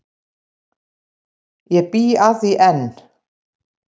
Ég bý að því enn.